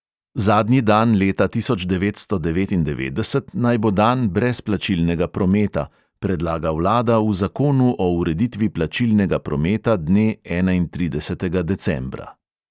Zadnji dan leta tisoč devetsto devetindevetdeset naj bo dan brez plačilnega prometa, predlaga vlada v zakonu o ureditvi plačilnega prometa dne enaintridesetega decembra.